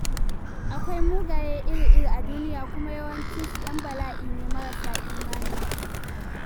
Akwai mugaye iri-iri a duniya kuma yawancinsu 'yan bala'i ne marasa imani.